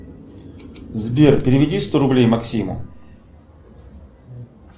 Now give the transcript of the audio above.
сбер переведи сто рублей максиму